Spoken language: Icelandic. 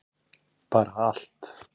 bara allt